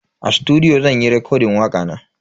A sutudiyo zan yi rekodin wakana.